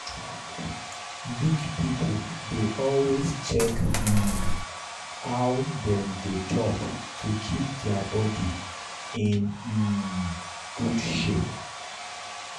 big people dey always check um how dem dey chop to keep their body in um good shape.